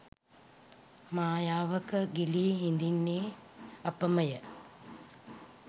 මයාවක ගිලී හිඳින්නේ අපම ය